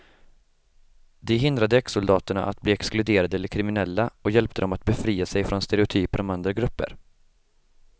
Det hindrade exsoldaterna att bli exkluderade eller kriminella och hjälpte dem att befria sig från stereotyper om andra grupper.